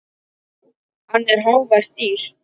Hann er hávært dýr.